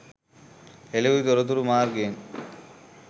හෙළිවූ තොරතුරු මාර්ගයෙන්